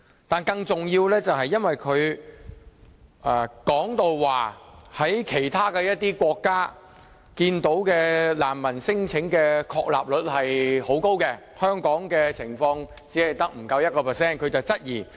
但是，更重要的是，因為他說，看到其他一些國家難民聲請的確立率很高，香港的情況卻不足 1%， 於是他有所質疑。